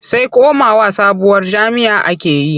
Sai komawa sabuwar jam'iyya ake yi.